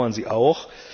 Wir bedauern sie auch.